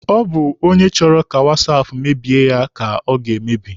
Ọ bụ onye chọrọ ka wasaapụ mebie ya ka ọ ga-emebi.